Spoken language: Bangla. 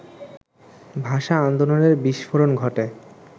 ভাষা-আন্দোলনের বিস্ফোরণ ঘটে